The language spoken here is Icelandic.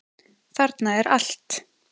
Þarna er allt.